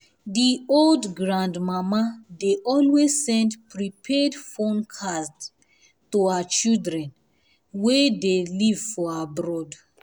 the old grandmama dey always send prepaid phone cards to her children um wey dey leave for abroad